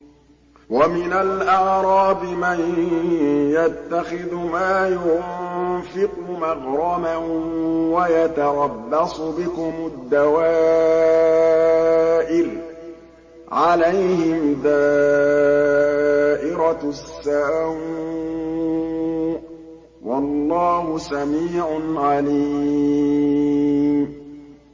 وَمِنَ الْأَعْرَابِ مَن يَتَّخِذُ مَا يُنفِقُ مَغْرَمًا وَيَتَرَبَّصُ بِكُمُ الدَّوَائِرَ ۚ عَلَيْهِمْ دَائِرَةُ السَّوْءِ ۗ وَاللَّهُ سَمِيعٌ عَلِيمٌ